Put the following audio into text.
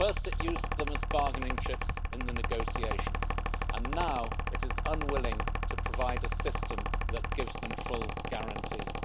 First it used them as bargaining chips in the negotiations, and now it is unwilling to provide a system that gives them full guarantees.